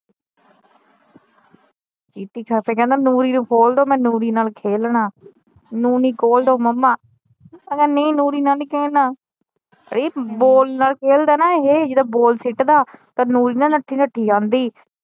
ਕੇ ਕਹਿੰਦਾ ਨੂਰੀ ਨੂੰ ਖੋਲਦੋ ਮੈ ਨੂਰੀ ਨਾਲ ਖੇਲਣਾ ਨੂਰੀ ਖੋਲਦੋ ਮੰਮਾ ਮੈ ਕਿਹਾ ਨਹੀਂ ਨੂਰੀ ਨਾਲ ਨਹੀਂ ਖੇਲਣਾ ਬੋਲ ਨਾਲ ਖੇਲਦਾ ਨਾ ਇਹ ਜਦੋ ਬਾਲ ਸਿੱਟਦਾ ਨੂਰੀ ਨਾ ਨੱਠੀ ਨੱਠੀ ਆਉਂਦੀ।